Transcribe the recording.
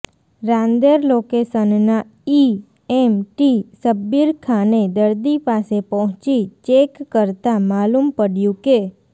રાંદેર લોકેશનના E M T શબ્બીરખાને દર્દી પાસે પહોંચી ચેક કરતા માલુમ પડયું કે